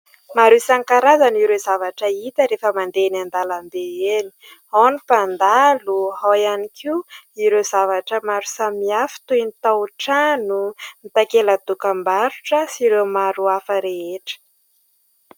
Maro isankarazany ireo zavatra hita rehefa mandeha eny an-dalambe eny, ao ny mpandalo, ao ihany koa ireo zavatra maro samy hafa toy : ny tao-trano, ny takela dokam-barotra sy ireo maro hafa rehetra.